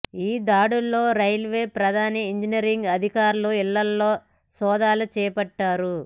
ఈ దాడుల్లో రైల్వే ప్రధాన ఇంజనీరింగ్ అధికారుల ఇళ్లల్లో సోదాలు చేపట్టారు